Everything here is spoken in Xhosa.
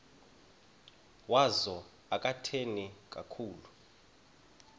wazo akathethi kakhulu